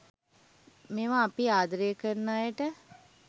මෙවා අපි ආදරය කරන අයට